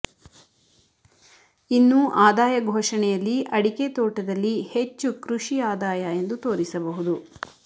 ಇನ್ನು ಆದಾಯ ಘೋಷಣೆಯಲ್ಲಿ ಅಡಿಕೆ ತೋಟದಲ್ಲಿ ಹೆಚ್ಚು ಕೃಷಿ ಆದಾಯ ಎಂದು ತೋರಿಸಬಹುದು